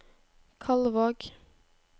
Kalvåg